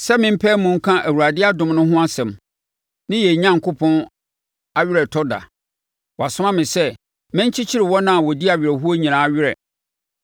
sɛ mempae mu nka Awurade adom no ho asɛm, ne yɛn Onyankopɔn aweretɔ da. Wasoma me sɛ, menkyekye wɔn a wɔdi awerɛhoɔ nyinaa werɛ,